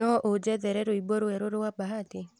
no ũnjethere rwĩmbo rwerũ rwa bahati